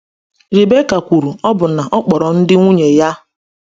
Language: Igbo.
Rebekah kwuru ọbụna na ọ kpọrọ ndụ ya asị n’ihi ndị nwunye ahụ.